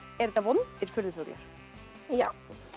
eru þetta vondir furðufuglar já